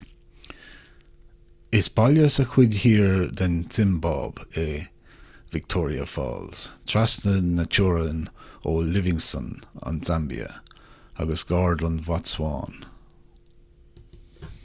is baile sa chuid thiar den tsiombáib é victoria falls trasna na teorann ó livingstone an tsaimbia agus gar don bhotsuáin